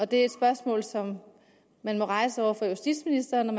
det er et spørgsmål som man må rejse over for justitsministeren